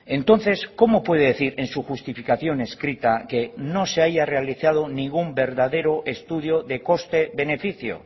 entonces cómo puede decir en su justificación escrita que no se haya realizado ningún verdadero estudio de coste beneficio